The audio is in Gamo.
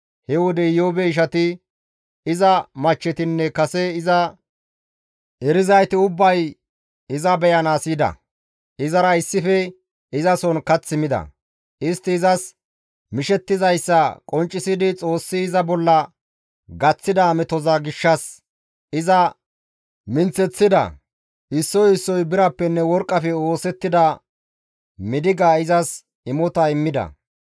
He wode Iyoobe ishati, iza michchetinne kase iza erizayti ubbay iza beyanaas yida. Izara issife izason kath mida; istti izas mishettizayssa qonccisidi Xoossi iza bolla gaththida metoza gishshas iza minththeththida. Issoy issoy birappenne worqqafe oosettida midiga izas imota immida.